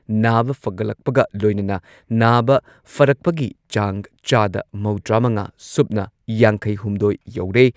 ꯅꯥꯕ ꯐꯒꯠꯂꯛꯄꯒ ꯂꯣꯏꯅꯅ ꯅꯥꯕ ꯐꯔꯛꯄꯒꯤ ꯆꯥꯡ ꯆꯥꯗ ꯃꯧꯗ꯭ꯔꯥꯃꯉꯥ ꯁꯨꯞꯅ ꯌꯥꯡꯈꯩꯍꯨꯝꯗꯣꯏ ꯌꯧꯔꯦ꯫